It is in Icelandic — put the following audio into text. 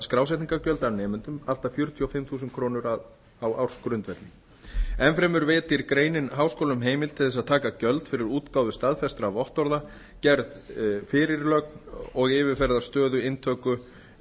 skrásetningargjöld af nemendum allt að fjörutíu og fimm þúsund krónur á ársgrundvelli enn fremur veitir greinin háskólum heimild til að taka gjöld fyrir útgáfu staðfestra vottorða gerð fyrirlögn og yfirferð stöðu inntöku